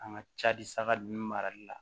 An ka cari saga ninnu marali la